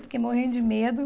Eu fiquei morrendo de medo.